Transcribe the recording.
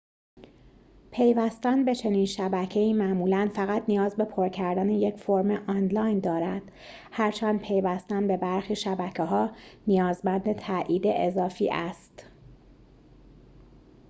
پیوستن به چنین شبکه‌ای معمولاً فقط نیاز به پر کردن یک فرم آنلاین دارد هرچند پیوستن به برخی شبکه‌ها نیازمند تأیید اضافی است